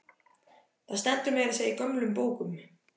Það stendur meira að segja í gömlum bókum.